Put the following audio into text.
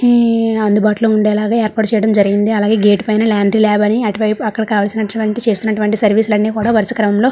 హ్హ్ అందుబాటులో ఉండేలాగా ఏర్పాటు చేయడం జరిగింది అలాగే గేట్ పైన లాండ్రీ ల్యాబ్ అని అటువై అక్కడ కావాల్సినటివంటి చేస్తున్నటువంటి సర్వీస్ లు అన్ని కూడా వరుస క్రమం లో --